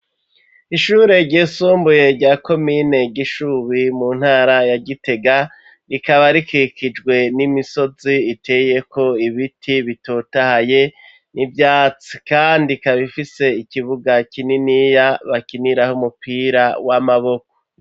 Ishure ryIsumbuye rya komine gishubi mu ntara ya gitega rikaba rikikijwe n'imisozi iteye ko ibiti bitotahaye n'ibyatsi kandi kab ifise ikibuga kininiya bakiniraho umupira w'amaboko.